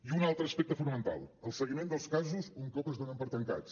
i un altre aspecte fonamental el seguiment dels casos un cop es donen per tancats